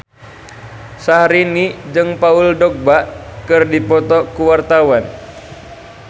Syahrini jeung Paul Dogba keur dipoto ku wartawan